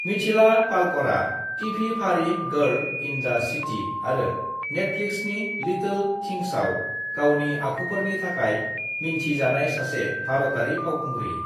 मिथिला पालकरा टिभि फारि girl in the city आरो नेटफ्लिक्सनि लिटोल थिंग्सआव गावनि आखुफोरनि थाखाय मिन्थि जानाय सासे भारतारि फावखुंग्रि।